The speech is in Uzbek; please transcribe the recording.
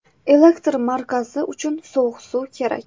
Elektr markazi uchun sovuq suv kerak.